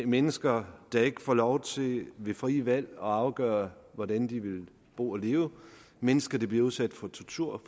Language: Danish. mennesker der ikke får lov til ved frie valg at afgøre hvordan de vil bo og leve mennesker der bliver udsat for tortur